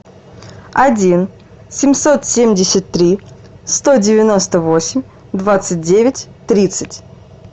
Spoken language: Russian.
один семьсот семьдесят три сто девяносто восемь двадцать девять тридцать